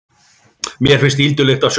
Mér finnst ýldulykt af sjónum.